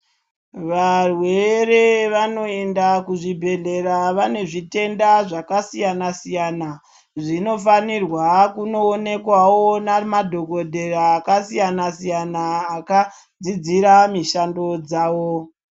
Varwere vanoenda kuzvibhedhlera vane zvitenda zvakasiyana-siyana. Zvinofanirwa kunoonekwawo nemadhokodheya akasiyana-siyana, akadzidzira mishando dzavo.